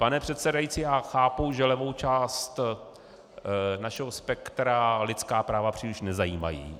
Pane předsedající, já chápu, že levou část našeho spektra lidská práva příliš nezajímají.